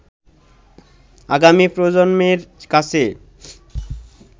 আগামী প্রজন্মের কাছে